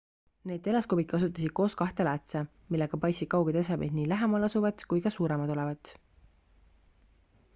need teleskoobid kasutasid koos kahte läätse millega paistsid kauged esemed nii lähemal asuvat kui ka suuremad olevat